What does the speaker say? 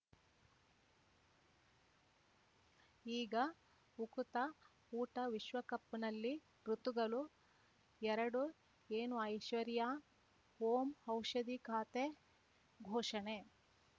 ಈಗ ಉಕುತ ಊಟ ವಿಶ್ವಕಪ್‌ನಲ್ಲಿ ಋತುಗಳು ಎರಡು ಏನು ಐಶ್ವರ್ಯಾ ಓಂ ಔಷಧಿ ಖಾತೆ ಘೋಷಣೆ